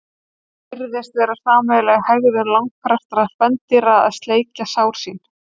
Það virðist vera sameiginleg hegðun langflestra spendýra að sleikja sár sín.